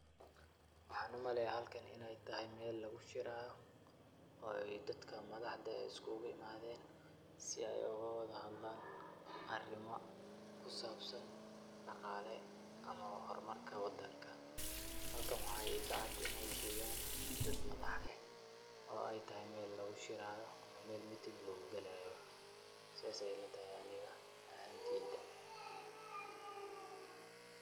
Waxaaan umaleeya halkan inaay tahay meel lagushiraayo oo ay daka madaxda ah ee uskuguyimaadeen si ay ogu wadahadlaan arimo ku saabsan daqaale ama hormarka wadanka. Halkan waxaa iigacad inay joogaan dad madax eh oo ay tahay meel lagushiraayo ama meel meeting lugugalaayo. Saas ayaa ilatahay aniga ahaanteyda.